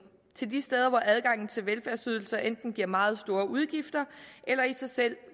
de steder hvor adgangen til velfærdsydelser enten giver meget store udgifter eller i sig selv